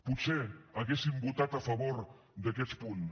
potser hauríem votat a favor d’aquests punts